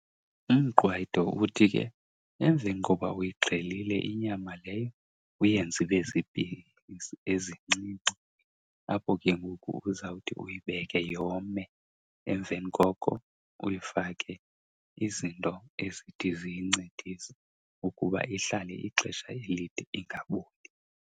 Umqwayito uthi ke emveni koba uyixhelile inyama leyo uyenze ibe ziipisi ezincinci. Apho ke ngoku uzawuthi uyibeke yome emveni koko uyifake izinto ezithi ziyincedise ukuba ihlale ixesha elide ingaboli.